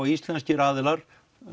íslenskir aðilar